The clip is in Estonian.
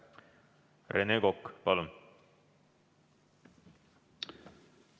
Rene Kokk, palun!